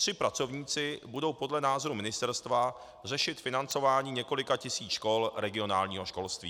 Tři pracovníci budou podle názoru Ministerstva řešit financování několika tisíc škol regionálního školství.